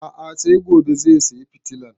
A'a sai gobe sai saya fitilan